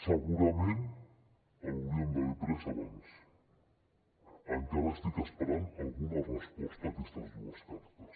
segurament l’hauríem d’haver pres abans encara espero alguna resposta a aquestes dues cartes